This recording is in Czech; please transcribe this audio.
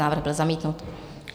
Návrh byl zamítnut.